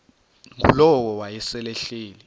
ngulowo wayesel ehleli